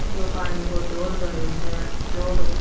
यो पानी को जोड़ भरो स जोड़ --